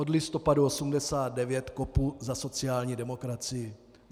Od listopadu 1989 kopu za sociální demokracii.